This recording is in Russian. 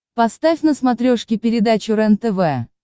поставь на смотрешке передачу рентв